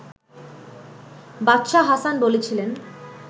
বাদশাহ হাসান বলেছিলেন